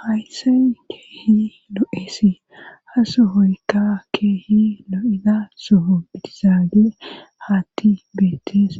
Haysay keehi lo7eesi ha sohoykka keehi lo7ida soho bitisaage haatti beites